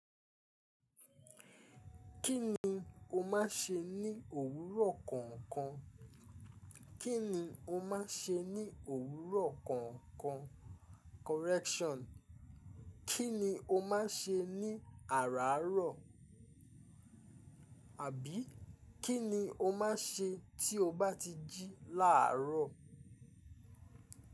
Kí ni o máa ṣe ní òwúrọ̀ kankan? Kí ni o máa ṣe ní òwúrọ̀ kọ̀ọ̀kan? Correction. Kí ni o máa ṣe ní àràárọ̀? Àbí kí ni o máa ṣe tí o bá ti jí làárọ̀?